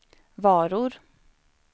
varor